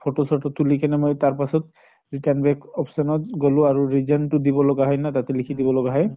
photo চত তুলি কেনে মই তাৰ পাছত return back option ত গলো আৰু reason তো দিব লগা হয় ন তাতে, লিখি দিব লগা হয়